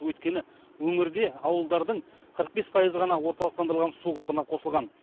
өйткені өңірде ауылдардың қырық бес пайызы ғана орталықтандырылған су құбырына қосылған